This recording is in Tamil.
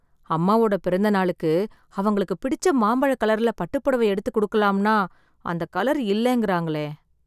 அம்மாவோட பிறந்த நாளுக்கு, அவங்களுக்கு பிடிச்ச மாம்பழக் கலர்ல பட்டுப்புடவ எடுத்துக் குடுக்கலாம்னா, அந்த கலர் இல்லெங்கறாங்களே...